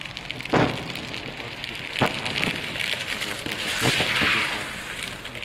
курс хорватских кунах на двадцатый год в боливар